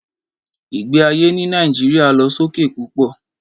Ìgbé ayé ní Nàìjíríà lọ sókè púpọ̀